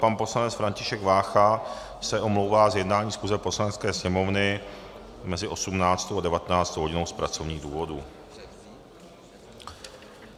Pan poslanec František Vácha se omlouvá z jednání schůze Poslanecké sněmovny mezi 18. a 19. hodinou z pracovních důvodů.